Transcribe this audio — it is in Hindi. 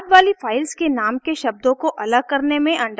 बाद वाली फाइल्स के नाम के शब्दों को अलग करने में अंडरस्कोर का प्रयोग होगा